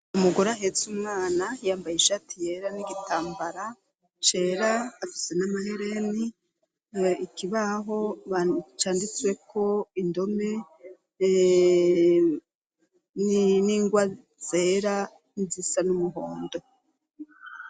Umugore ahetse umwana yambaye ishati yera n'igitambara cera afise n'amahereni ikibaho bacanditswe ko indome n'ingwa zera nizisa n'umuhondo.